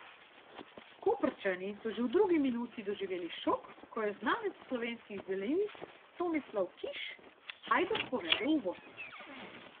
Koprčani so že v drugi minuti doživeli šok, ko je znanec slovenskih zelenic Tomislav Kiš Hajduk povedel v vodstvo.